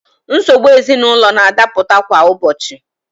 Nsogbu ezinaụlọ na-adapụta kwa ụbọchị.